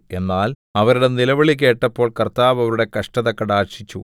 എന്നാൽ അവരുടെ നിലവിളികേട്ടപ്പോൾ കർത്താവ് അവരുടെ കഷ്ടത കടാക്ഷിച്ചു